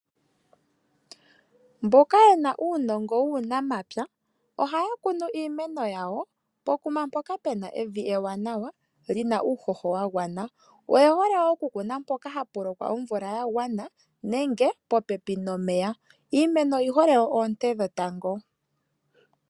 Mboka yena uunongo wuunamapya ohaya kunu iimeno yawo pokuma mpoka pena evi ewanawa lina uuhoho wagwana. Oye hole oku kuna mpoka hapu lokwa omvula yagwana nenge popepi nomeya. Iimeno oyi hole oonte dhetango.